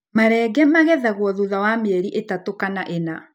Marenge magethagwo thutha wa mĩeri ĩtatũ kana ĩna.